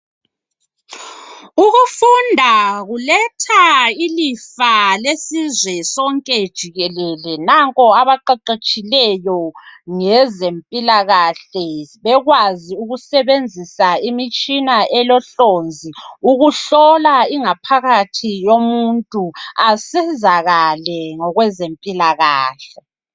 Ukufunda kuletha ilifa lesizwe sonke jikelele nanko abaqeqetshileyo ngezempilakahle bekwazi ukusebenzisa imitshina elohlonzi ukuhlola ingaphakathi yomuntu asizakale ngokwezempilakahle.